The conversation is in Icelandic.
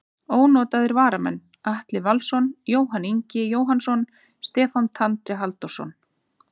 Ónotaðir varamenn: Atli Valsson, Jóhann Ingi Jóhannsson, Stefán Tandri Halldórsson.